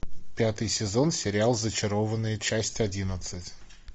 пятый сезон сериал зачарованные часть одиннадцать